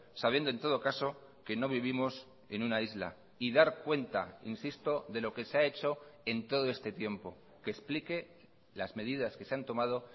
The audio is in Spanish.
sabiendo en todo caso que no vivimos en una isla y dar cuenta insisto de lo que se ha hecho en todo este tiempo que explique las medidas que se han tomado